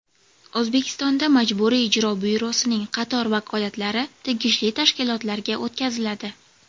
O‘zbekistonda Majburiy ijro byurosining qator vakolatlari tegishli tashkilotlarga o‘tkaziladi.